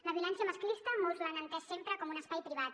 la violència masclista molts l’han entès sempre com un espai privat